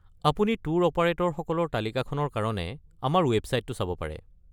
আপুনি ট্যুৰ অপাৰেটৰসকলৰ তালিকাখনৰ কাৰণে আমাৰ ৱেবছাইটো চাব পাৰে।